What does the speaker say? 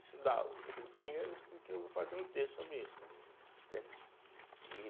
estudar o o Rio Pinheiros, porque eu vou fazer um texto sobre isso né, entende? e